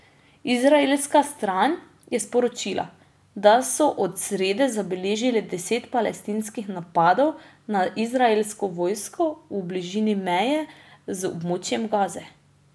Izraelska stran je sporočila, da so od srede zabeležili deset palestinskih napadov na izraelsko vojsko v bližini meje z območjem Gaze.